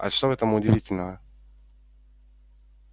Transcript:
а что в этом удивительного